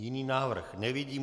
Jiný návrh nevidím.